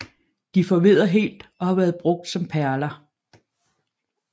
De forvedder helt og har været brugt som perler